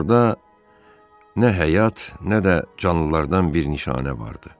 Orada nə həyat, nə də canlılardan bir nişanə vardı.